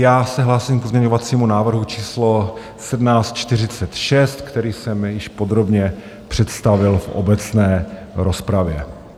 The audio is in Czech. Já se hlásím k pozměňovacímu návrhu číslo 1746, který jsem již podrobně představil v obecné rozpravě.